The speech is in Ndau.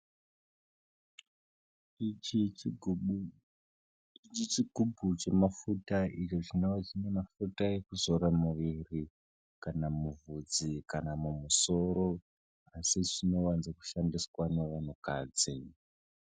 Ichi chigubhu chemafuta ekuzora muiri kana mubvudzi kana mumusoro asi zvinowanzakushandiswa nevantukadzi.